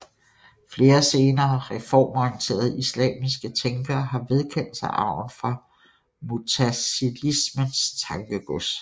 Flere senere reformorienterede islamiske tænkere har vedkendt sig arven fra mutazilismens tankegods